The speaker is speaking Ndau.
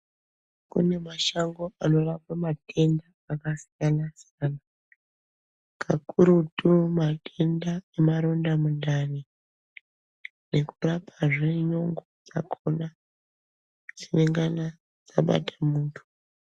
Kune mashango anorapa matenda akasiyanasiyana kakurutu matenda emaronda mundani nekurapazve nyongo dzakona dzinengana dzabata munhu.